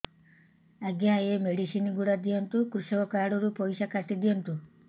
ଆଜ୍ଞା ଏ ମେଡିସିନ ଗୁଡା ଦିଅନ୍ତୁ କୃଷକ କାର୍ଡ ରୁ ପଇସା କାଟିଦିଅନ୍ତୁ